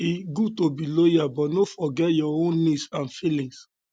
e good to be loyal but no forget your own needs and feelings